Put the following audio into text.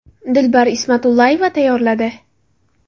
Dilbar Ismatullayeva tayyorladi .